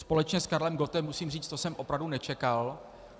Společně s Karlem Gottem musím říct, to jsem opravdu nečekal.